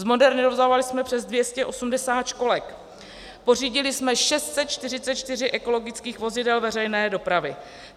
Zmodernizovali jsme přes 280 školek, pořídili jsme 644 ekologických vozidel veřejné dopravy.